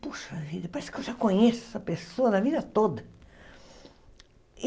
Puxa vida, parece que eu já conheço essa pessoa a vida toda.